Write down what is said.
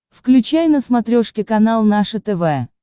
включай на смотрешке канал наше тв